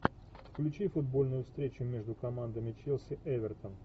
включи футбольную встречу между командами челси эвертон